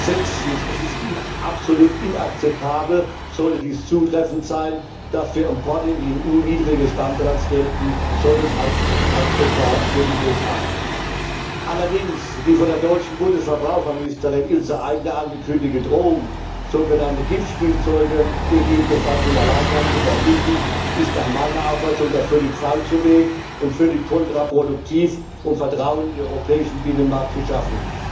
Sechstens, es ist absolut inakzeptabel, sollte dies zutreffend sein, dass für Importe in die EU niedrigere Standards gelten sollen als etwa für die USA. Allerdings, die von der deutschen Bundesverbraucherministerin Ilse Aigner angekündigte Drohung, so genannte Giftspielzeuge gegebenenfalls im Alleingang zu verbieten, ist nach meiner Auffassung der völlig falsche Weg und völlig kontraproduktiv, um Vertrauen in den europäischen Binnenmarkt zu schaffen.